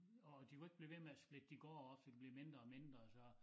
Og de kunne ikke blive ved med at splitte de gårde op for de blev mindre og mindre så